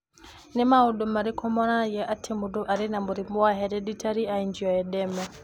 Nĩ maũndũ marĩkũ monanagia atĩ mũndũ arĩ na mũrimũ wa Hereditary angioedema?